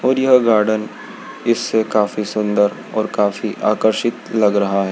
और यह गार्डन इससे काफी सुंदर और काफी आकर्षित लग रहा है।